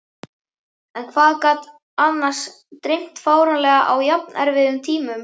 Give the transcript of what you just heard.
En hvað hann gat annars dreymt fáránlega á jafnerfiðum tímum.